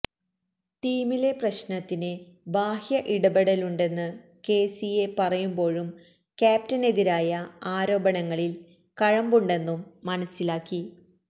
ടീമിലെ പ്രശ്നത്തിന് ബാഹ്യ ഇടപെടലുണ്ടെന്ന് കെ സി എ പറയുമ്പോഴും ക്യാപ്ടനെതിരായ ആരോപണങ്ങളിൽ കഴമ്പുണ്ടെന്നും മനസ്സിലാക്കി